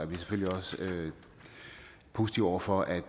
vi selvfølgelig også positive over for at